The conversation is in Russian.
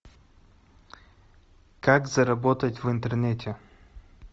как заработать в интернете